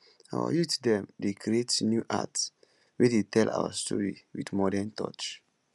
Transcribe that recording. our youth dem dey create new art wey dey tell our story wit modern touch